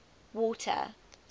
water